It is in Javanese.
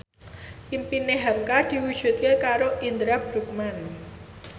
impine hamka diwujudke karo Indra Bruggman